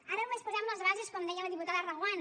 ara només posem les bases com deia la diputada reguant